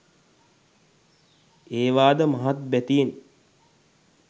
ඒවා ද මහත් බැතියෙන්